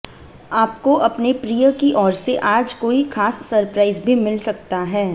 आपको अपने प्रिय की ओर से आज कोई खास सरप्राइज भी मिल सकता है